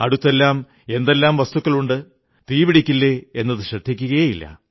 അടുത്തെല്ലാം എന്തെല്ലാം വസ്തുക്കളുണ്ട് തീപിടിക്കില്ലേ എന്നതു ശ്രദ്ധിക്കയേ ഇല്ല